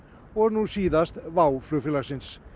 og nú síðast WOW flugfélagsins